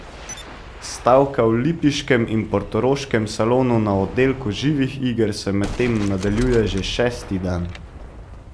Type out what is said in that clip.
Stavka v lipiškem in portoroškem salonu na oddelku živih iger se medtem nadaljuje že šesti dan.